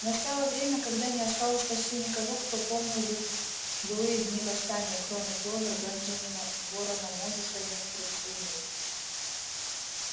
настало время когда не осталось почти никого кто помнил бы былые дни восстания кроме кловер бенджамина ворона мозуса и некоторых свиней